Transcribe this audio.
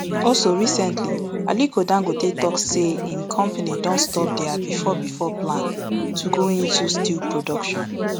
also recently aliko dangote tok say im company don stop dia bifor bifor plan to go into steel production